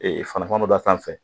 Ee fana fana bɛ d'a sanfɛ